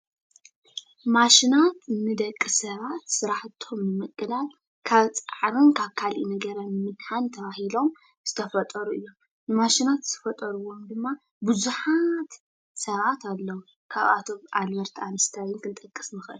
ማሽናት ንደቂ ሰባት ስራሕቶም ንምቅላል ካብ ፃዕሪን ካብ ካለእ ነገርን ንምድሓን ተባሂሎም ዝተፈጠሩ እዮም፡፡ ማሽናት ዝፈጠርዎም ድማ ቡዙሓት ሰባት ኣለዉ፡፡ ካብኣቶም ኣልበር ኣንስታይን ክንጠቅስ ንክእል፡፡